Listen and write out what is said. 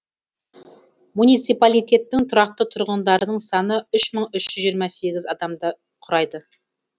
муниципалитеттің тұрақты тұрғындарының саны үш мың үш жүз жиырма сегізінші адамды құрайды